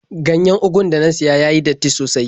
Ganyen ugun da na siya ya yi datti sosai.